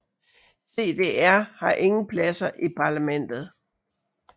CDR har ingen pladser i parlamentet